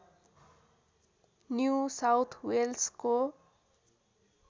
new South वेल्सको